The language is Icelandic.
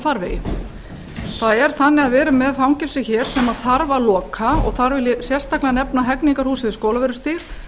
farvegi það er þannig að við erum með fangelsi hér sem þarf að loka og þar vil ég sérstaklega nefna hegningarhúsið við skólavörðustíg